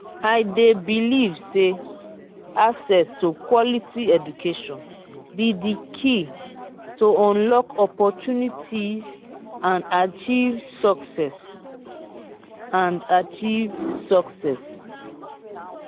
i dey believe say access to quality education be di key to unlock opportunities and achieve success. and achieve success.